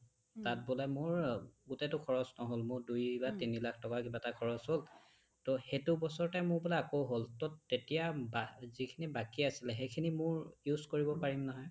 তাত বোলে মোৰ গোটইটো খৰচ নহ'ল মোৰ দুই বা তিনি লাখ টকা এটাহে খৰচ হ'ল টো সেইটো বছৰতে মোৰ বোলে আকৌ হ'ল টো তেতিয়া বা যিখিনি বাকী আছিলে সেইখিনি মোৰ use কৰিব পাৰিম নহয়